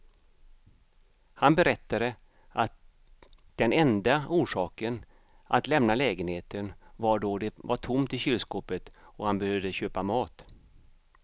Han berättade att den enda orsaken att lämna lägenheten var då det var tomt i kylskåpet och han behövde köpa mat.